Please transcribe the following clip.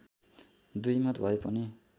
दुईमत भए पनि